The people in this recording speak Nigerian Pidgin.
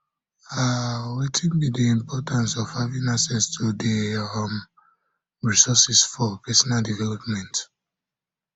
um wetin be di importance importance of having access to di um resources for personal development um